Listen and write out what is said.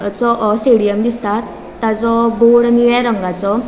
तो स्टेडियम दिसता ताजो बोर्ड निळ्या रंगाचो.